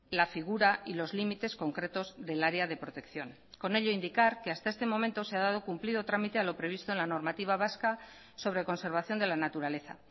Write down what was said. la figura y los límites concretos del área de protección con ello indicar que hasta este momento se ha dado cumplido trámite a lo previsto en la normativa vasca sobre conservación de la naturaleza